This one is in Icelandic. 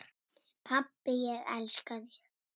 Pabbi, ég elska þig.